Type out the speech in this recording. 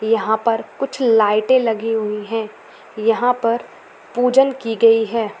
यहाँ पर कुछ लाईटे लगी हुई है यहाँ पर पूजन की गई हैं ।